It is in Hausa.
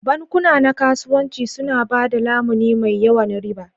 Bankuna na kasuwanci suna ba da lamuni mai yawan riba.